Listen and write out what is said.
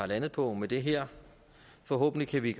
landet på med det her forhåbentlig kan vi